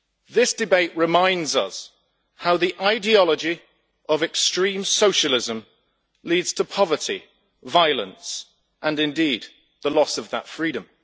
This debate reminds us how the ideology of extreme socialism leads to poverty, violence and, indeed, to the loss of that freedom.